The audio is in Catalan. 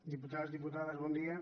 diputades diputats bon dia